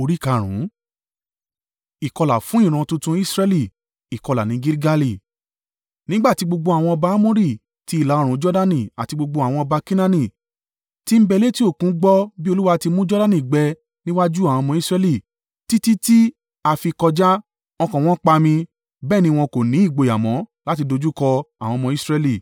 Nígbà tí gbogbo àwọn ọba Amori ti ìlà-oòrùn Jordani àti gbogbo àwọn ọba Kenaani tí ń bẹ létí òkun gbọ́ bí Olúwa ti mú Jordani gbẹ ní iwájú àwọn ọmọ Israẹli títí ti a fi kọjá, ọkàn wọn pami, bẹ́ẹ̀ ni wọn kò ní ìgboyà mọ́ láti dojúkọ àwọn ọmọ Israẹli.